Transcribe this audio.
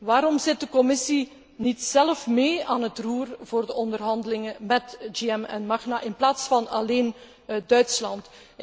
Waarom zit de Commissie niet zelf mee aan het roer voor de onderhandelingen met GM en Magna in plaats van alleen Duitsland.